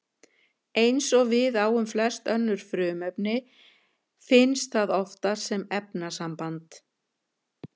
Eins og við á um flest önnur frumefni finnst það oftast sem efnasamband.